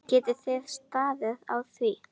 Geti þið staðið á því?